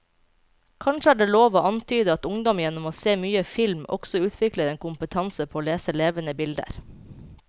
Kanskje er det lov å antyde at ungdom gjennom å se mye film også utvikler en kompetanse på å lese levende bilder.